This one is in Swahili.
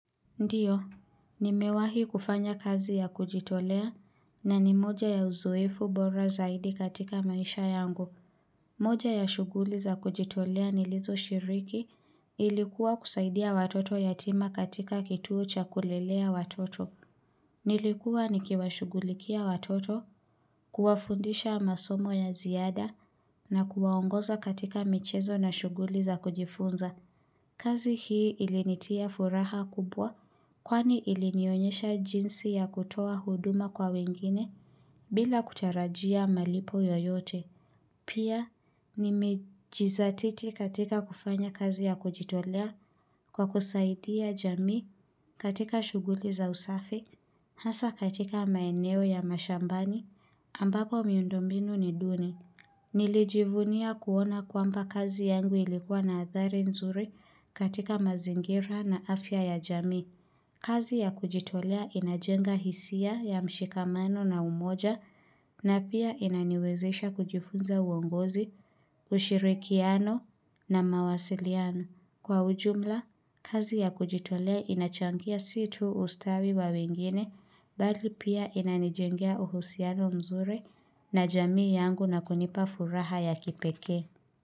Ndiyo, nimewahi kufanya kazi ya kujitolea na ni moja ya uzoefu bora zaidi katika maisha yangu. Moja ya shughuli za kujitolea nilizoshiriki ilikuwa kusaidia watoto yatima katika kituo cha kulelea watoto. Nilikuwa nikiwashughulikia watoto, kuwafundisha masomo ya ziada na kuwaongoza katika michezo na shughuli za kujifunza. Kazi hii ilinitia furaha kubwa kwani ilinionyesha jinsi ya kutoa huduma kwa wengine bila kutarajia malipo yoyote. Pia, nimejizatiti katika kufanya kazi ya kujitolea kwa kusaidia jamii katika shughuli za usafi, hasa katika maeneo ya mashambani ambapo miundo mbinu ni duni. Nilijivunia kuona kwamba kazi yangu ilikuwa na adhari nzuri katika mazingira na afya ya jamii. Kazi ya kujitolea inajenga hisia ya mshikamano na umoja na pia inaniwezesha kujifunza uongozi, ushirikiano na mawasiliano. Kwa ujumla, kazi ya kujitole inachangia si tu ustawi wa wengine, mbali pia inanijengea uhusiano mzuri na jamii yangu na kunipa furaha ya kipekee.